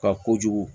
Ka kojugu